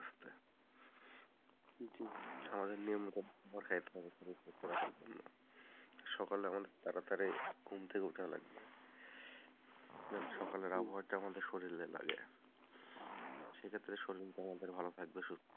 আমাদের নিয়মমতো সকালে আমার তাড়াতাড়ি ঘুম থেকে উঠার লাগবে সকালের আবহাওয়াটা আমাদের শরীরে লাগে সেক্ষেত্রে শরীরটা আমাদের ভালো থাকবে,